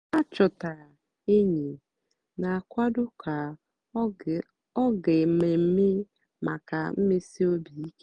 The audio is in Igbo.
há chọtárá ényí nà-àkwádó kà ọ́ gáá mmèmme màkà mmèsì óbì íké.